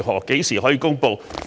何時可以公布？